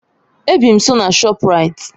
Ebị m nso na Shoprite